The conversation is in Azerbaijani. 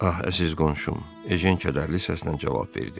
Ax, əziz qonşum, Ejen kədərli səslə cavab verdi.